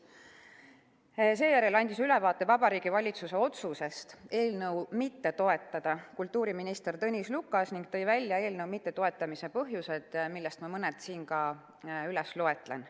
Kultuuriminister Tõnis Lukas andis ülevaate Vabariigi Valitsuse otsusest eelnõu mitte toetada ning tõi välja eelnõu mittetoetamise põhjused, millest ma mõned siin ka üles loen.